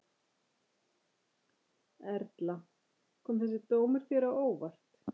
Erla: Kom þessi dómur þér á óvart?